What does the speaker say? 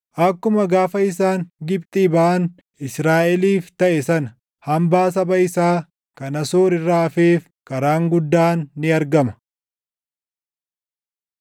Akkuma gaafa isaan Gibxii baʼan // Israaʼeliif taʼe sana, hambaa saba isaa kan Asoor irraa hafeef karaan guddaan ni argama.